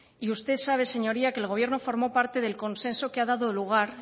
y usted sabe señoría que el gobierno formó parte del consenso que ha dado lugar